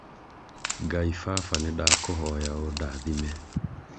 ngai baba nĩndakũhoya ũndathime